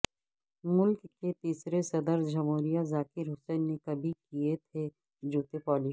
ملک کے تیسرے صدر جمہوریہ ذاکر حسین نے کبھی کئے تھے جوتے پالش